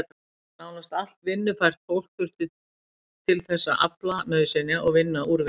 Nánast allt vinnufært fólk þurfti til þess að afla nauðsynja og vinna úr þeim.